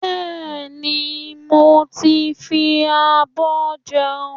Bẹ́ẹ̀ni, mo ti ń fi abọ́ jẹun